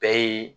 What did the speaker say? Bɛɛ ye